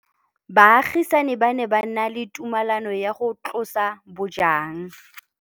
Baagisani ba ne ba na le tumalanô ya go tlosa bojang.